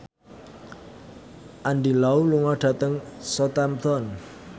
Andy Lau lunga dhateng Southampton